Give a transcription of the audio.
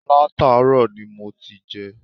Látàárò ni mo ti jé